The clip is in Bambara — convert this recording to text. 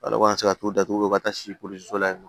Ala kɔni tɛ se ka t'o datugu ka taa si polisi dɔ la yen nɔ